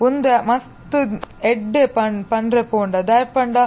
ಉಂದು ಮಸ್ತ್ ಎಡ್ಡೆ ಪಂಡ್ರೆ ಪೋಂಡ ದಾಯೆ ಪಂಡ.